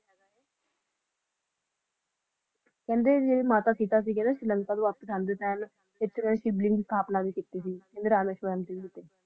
ਤੇ ਕਹਿੰਦੇ ਜੈਰੇ ਮਾਤਾ ਸੀਤਾ ਸੀ ਉਨ੍ਹਾਂ ਨੇ ਪ੍ਰਮਾਤਮਾਂ ਭੀ ਕਿੱਤੀ ਸੀ ਸ਼੍ਰੀਲੰਕਾ ਜਾਂਦੇ ਸੀ